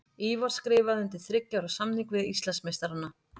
Ívar skrifaði undir þriggja ára samning við Íslandsmeistarana.